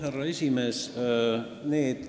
Härra esimees!